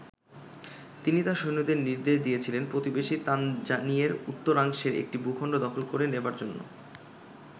তিনি তার সৈন্যদের নির্দেশ দিয়েছিলেন, প্রতিবেশী তানজানিয়ের উত্তরাংশের একটি ভূখন্ড দখল করে নেবার জন্য।